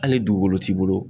Hali dugukolo t'i bolo.